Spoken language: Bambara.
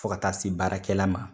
Fo ka taa se baarakɛla ma.